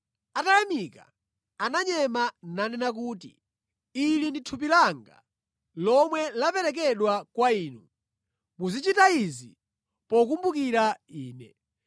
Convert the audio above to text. Atayamika ndi kumunyema ananena kuti, “Ili ndi thupi langa lomwe laperekedwa kwa inu; muzichita zimenezi pokumbukira Ine.”